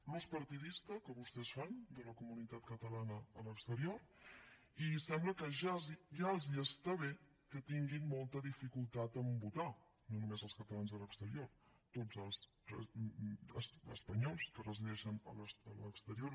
l’ús partidista que vostès fan de la comunitat catalana a l’exterior i sembla que ja els està bé que tinguin molta dificultat a votar no només els catalans a l’exterior tots els espanyols que resideixen a l’exterior